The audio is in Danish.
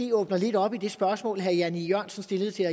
lukker lidt op i det spørgsmål herre jan e jørgensen stillede til